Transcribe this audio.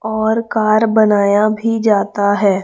और कार बनाया भी जाता है।